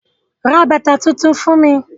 Ra bàtà tuntun fún mi?